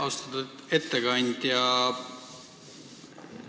Austatud ettekandja!